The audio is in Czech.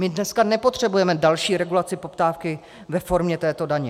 My dneska nepotřebujeme další regulaci poptávky ve formě této daně.